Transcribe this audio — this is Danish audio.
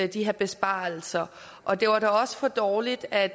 de her besparelser og det var da også for dårligt at